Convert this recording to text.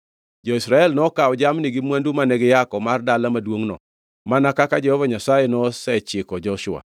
Jo-Israel to nokawo jamni gi mwandu mane giyako mar dala maduongʼno mana kaka Jehova Nyasaye nosechiko Joshua.